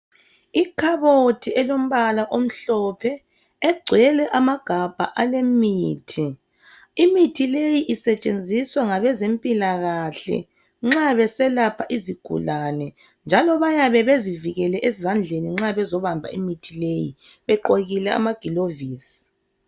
Ikhabothi elombala omhlophe egcwele amagabha alemithi, imithi le isetshenziswa ngabezempilakahle nxa beselapha izigulane njalo bayabebezivikele nxa bezobamba imithi leyi, begqokile amagilovisi.